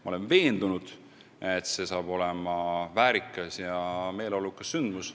Ma olen veendunud, et see saab olema väärikas ja meeleolukas sündmus.